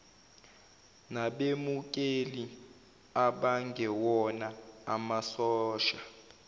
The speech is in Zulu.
nabemukeli abangewona amasosha